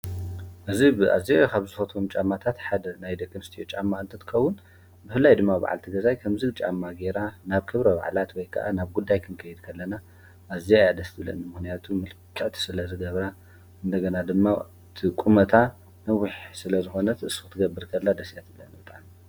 እዝ ብኣዚኻብ ዝፈቶም ጫማታት ሓደ ናይ ደኸምስትዮ ጫማ እንትትከውን ብህላይ ድማ ብዓል ቲ ገዛይ ከም ዝ ጫማ ጌራ ናብ ክብረ ዕላት ወይከዓ ናብ ጕዳይ ክንቀይትከለና ኣዚ ኣደስቲ ብለኒ ምኅንያቱ ምልቅዕት ስለ ዝገብራ እንተገና ድማ ቁመታ ንዊሕ ስለ ዝኾነት እሱ ትገብርከላ ደሴያትለነጣን